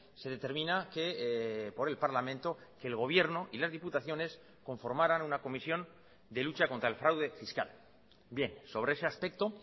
se determina que por el parlamento que el gobierno y las diputaciones conformaran una comisión de lucha contra el fraude fiscal bien sobre ese aspecto